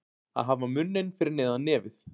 Að hafa munninn fyrir neðan nefið